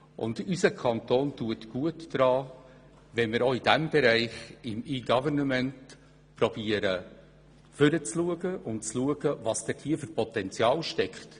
Unser Kanton tut gut daran, im Bereich E-Government nach vorne zu schauen und zu überlegen, welches Potenzial dort drin steckt.